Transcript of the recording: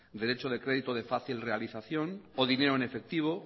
derecho de crédito de fácil realización o dinero en efectivo